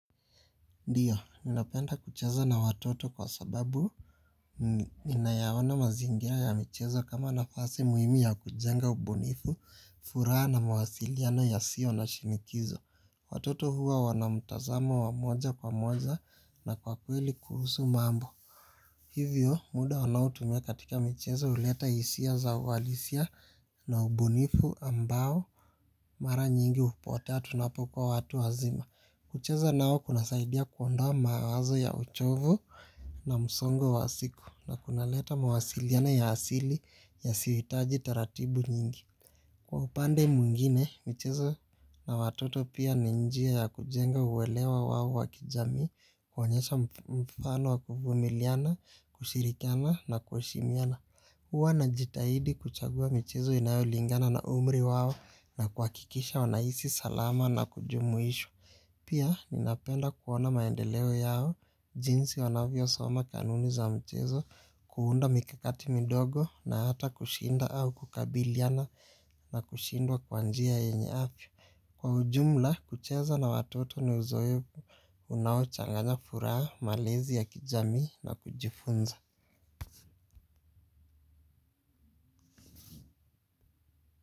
Ndiyo, ninapenda kucheza na watoto kwa sababu ninayaoana mazingira ya michezo kama nafasi muhimi ya kujenga ubunifu, furaha na mawasiliano ya sio na shinikizo. Watoto huwa wanamtazamo wa moja kwa moja na kwa kweli kuhusu mambo. Hivyo, muda wanaotumia katika michezo huleta hisia za walisia na ubunifu ambao mara nyingi hupotea tunapo kua watu wazima. Kucheza nao kuna saidia kuondoa mawazo ya uchovu na msongo wa siku na kuna leta mawasiliano ya asili yasiyohitaji taratibu nyingi. Kwa upande mwngine, michezo na watoto pia ninjia ya kujenga uwelewa wawo wakijami kuonyesha mfano wa kuvumiliana, kushirikiana na kuheshimiana. Huwa na jitahidi kuchagua michezo inayolingana na umri wawo na kua hakikisha wanahisi salama na kujumuishwa. Pia ninapenda kuona maendeleo yao jinsi wanavyo soma kanuni za mchezo kuunda mikakati midogo na hata kushinda au kukabiliana na kushindwa kwanjia yanye afya. Kwa ujumla kucheza na watoto ni uzoefu unawo changanya furaha malezi ya kijami na kujifunza.